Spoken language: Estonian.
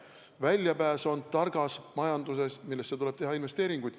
Väljapääs on targas majanduses, millesse tuleb teha investeeringuid.